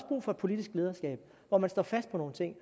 brug for politisk lederskab hvor man står fast på nogle ting